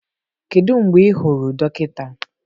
Kedu mgbe ị hụrụ dọkịta?